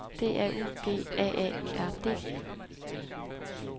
D A U G A A R D